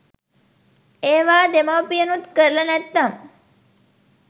ඒවා දෙමව්පියනුත් කරල නැත්නම්